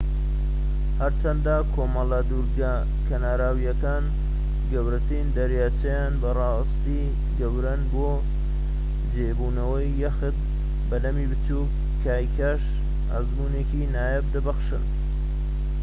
هەرچەندە کۆمەڵە دورگە کەناراویەکان و گەورەترین دەریاچەکان بە راستی گەورەن بۆ جێبوونەوەی یەخت بەلەمی بچووك و کایاکیش ئەزموونێکی نایاب دەبەخشن